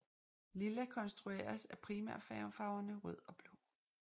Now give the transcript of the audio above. Lilla konstrueres af primærfarverne rød og blå